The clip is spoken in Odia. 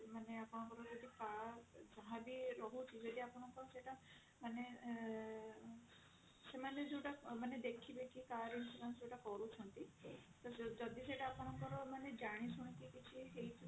ମାନେ ଆପଣଙ୍କର ଯଦି ଯାହା ବି ରହୁଥିବ ଯଦି ଆପଣଙ୍କର ସେଇଟା ମାନେ ସେମାନେ ଯୋଉଟା ମାନେ ଦେଖିବେ କି car insurance ଯୋଉଟା କରୁଛନ୍ତି ଯଦି ସେଇଟା ଆପଣଙ୍କର ମାନେ ଜାଣି ଶୁଣି କି କିଛି ହେଇଥିବ